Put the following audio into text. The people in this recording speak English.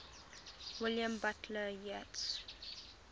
william butler yeats